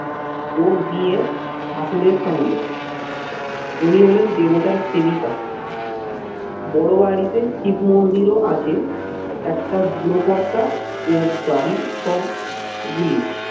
ওর বিয়ে ঠাকুরের সঙ্গে উনি হলেন দেবতার সেবিকা। বড়বাড়িতে শিব মন্দিরও আছে, একটা বুড়ো কর্তা ও বাড়ির সব গুলি